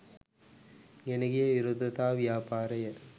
ගෙන ගිය විරෝධතා ව්‍යාපාරය